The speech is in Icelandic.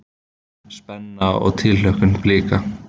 Spenna og tilhlökkun Blika